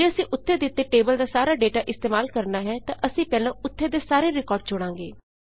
ਜੇ ਅਸੀਂ ਉੱਤੇ ਦਿੱਤੇ ਟੇਬਲ ਦਾ ਸਾਰਾ ਡੇਟਾ ਇਸਤੇਮਾਲ ਕਰਣਾ ਹੈ ਤਾਂ ਅਸੀਂ ਪਹਿਲਾਂ ਉੱਥੇ ਦੇ ਸਾਰੇ ਰਿਕਾਰਡ ਚੁਣਾਂਗੇ